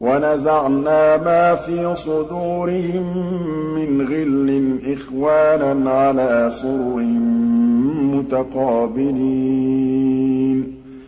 وَنَزَعْنَا مَا فِي صُدُورِهِم مِّنْ غِلٍّ إِخْوَانًا عَلَىٰ سُرُرٍ مُّتَقَابِلِينَ